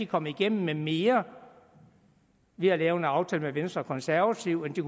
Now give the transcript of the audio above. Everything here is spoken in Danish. kommet igennem med mere ved at lave en aftale med venstre og konservative end de